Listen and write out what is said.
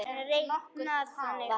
er reiknað þannig